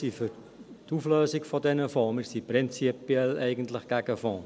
Wir sind eigentlich prinzipiell gegen Fonds.